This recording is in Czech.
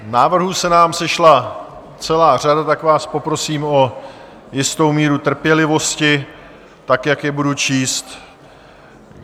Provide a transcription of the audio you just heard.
Návrhů se nám sešla celá řada, tak vás poprosím o jistou míru trpělivosti, tak jak je budu číst.